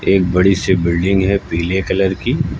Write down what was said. एक बड़ी से बिल्डिंग है पीले कलर की।